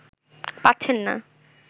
পাচ্ছেন না